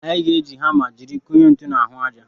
Anyị ga-eji hama jiri kụnye ntu n'ahụ aja.